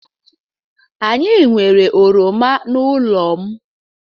Anyị nwere oroma n'ụlọ m.